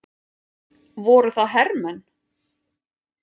Voru það hermenn?